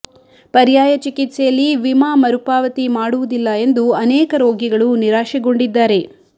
ಪರ್ಯಾಯ ಚಿಕಿತ್ಸೆಯಲ್ಲಿ ವಿಮಾ ಮರುಪಾವತಿ ಮಾಡುವುದಿಲ್ಲ ಎಂದು ಅನೇಕ ರೋಗಿಗಳು ನಿರಾಶೆಗೊಂಡಿದ್ದಾರೆ